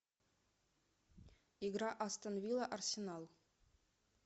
игра астон вилла арсенал